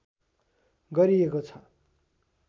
गरिएको छ